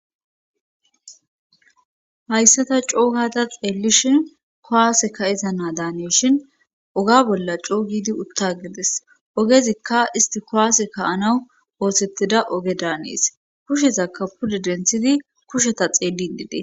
hayssata cookata xeellishi kowaase ka7eza naa daanishin oga bolla coogidi utta gides ogezikka isti kowaase ka anawu oosettida oge daanees kushezakka pude denthidi kusheta xeelid detes